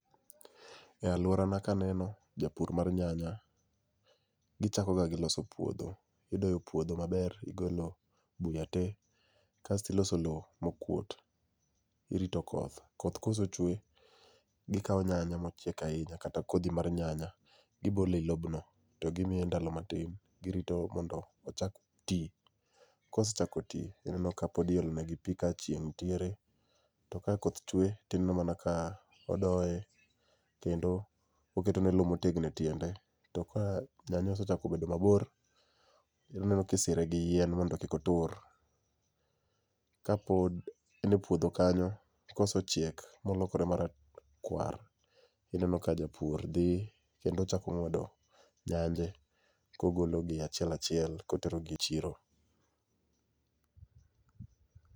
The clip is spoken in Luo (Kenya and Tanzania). E aluorana kaneno japur mar nyanya gichako ga gi loso puodho. Idoyo puodho maber. Gigolo buya te kasto giloso lowo mokuot. Girito koth, koth ka osechwe gikawo nyanya mochiek ahinya kata kodhi mar nyanya gibolo e lobno to gimiye ndalo matin. Girito mondo ochak ti kosechako ti ineno ka pod iolo negi pi ka chieng' nitiere to ka koth chwe to ineno mana ka odoye kendo oketone lowo motegno e tiende to ka nyanya osechako bedo mabor to ineno ka isire gi yien mondo kik otur kapod en e puodho kanyo kosechiek ma olokore marakuar, ineno ka japur dhi kendo chako ng'wdo nyanje kogologi achiel achiel ka oterogi e chiro.